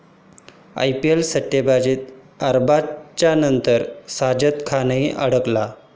IPL सट्टेबाजीत अरबाजच्या नंतर साजिद खानही अडकला?